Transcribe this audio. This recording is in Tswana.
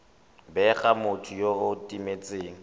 bega motho yo o timetseng